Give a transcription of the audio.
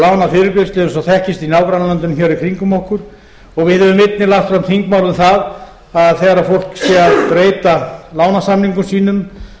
þekkist í nágrannalöndunum hér í kringum okkur og við höfum einnig lagt fram þingmál um það að þegar fólk sé að breyta lánasamningum sínum